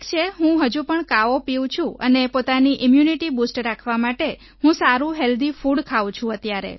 ઠીક છેહું હજુ પણ કાવો પીવું છું અને પોતાની ઈમ્યૂનિટી બૂસ્ટ રાખવા માટે હું સારું હેલ્ધી ફૂડ ખાઉં છું અત્યારે